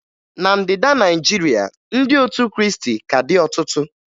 Na Ndịda Naịjirịa, ndị otu Krịịstị ka dị ọtụtụ